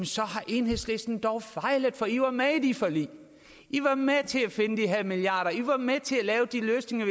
så har enhedslisten fejlet for i var med i det forlig i var med til at finde de her milliarder af kroner i var med til at lave de løsninger